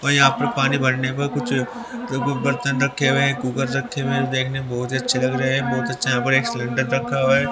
और यहां पर पानी भरने पर कुछ बर्तन रखे हुए हैं कुकर रखे हुए हैं देखने में बहुत ही अच्छे लग रहे हैं बहुत अच्छा यहां पर एक सिलेंडर रखा हुआ ह--